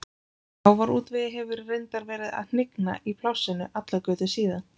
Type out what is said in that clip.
Sjávarútvegi hefur reyndar verið að hnigna í plássinu allar götur síðan.